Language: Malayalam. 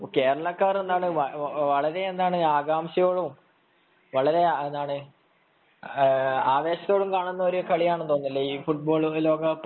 കേരളക്കാർ എന്തായാലും വളരെയേറെ ആകാംക്ഷയോടെയും ആവേശത്തോടെയും കാണുന്നതാണെന്നു തോന്നുന്നു ഈ ലോകകപ്പ്